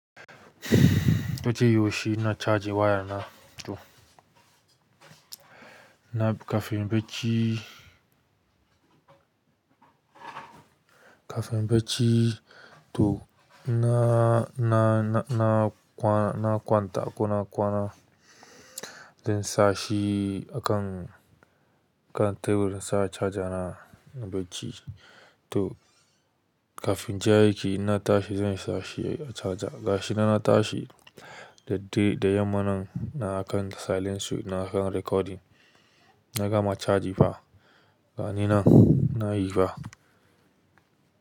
Koda yaushe na charge waya na to, na kafin bacci, kafin bacci to na, na, na, na kwana, na kwanta ko na kwana, zan sa shi a kan, a kan table in sa charger na a bacci to kafin ja yake in na tashi zan sa shi a charger. Gashi nan na tashi da dare, da yamma nan na a kan silent su, na a kan recording. Na gama charge ba, gani nan na yi ba.